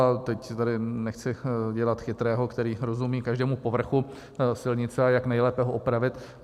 A teď tady nechci dělat chytrého, který rozumí každému povrchu silnice, a jak nejlépe ho opravit.